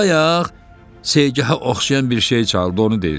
Bayaq Seygaha oxşayan bir şey çaldı, onu deyirsən?